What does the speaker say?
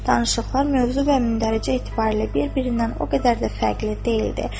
Danışıqlar mövzu və mündəricə etibarilə bir-birindən o qədər də fərqli deyildi.